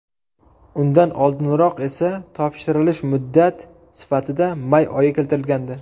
Undan oldinroq esa topshirilish muddat sifatida may oyi keltirilgandi .